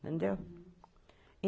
Entendeu?